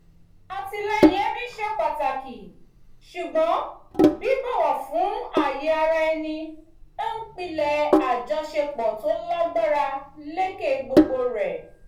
àtìlẹ́yìn ẹbí ṣe pàtàkì ṣùgbọ́n bíbọ̀wọ̀ fún ààyè ara ẹni ń pilẹ̀ àjọṣepọ̀ tò lágbára lékè gbogbo rẹ̀